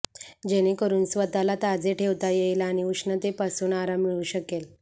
जेणे करून स्वतःला ताजे ठेवता येईल आणि उष्णतेपासून आराम मिळू शकेल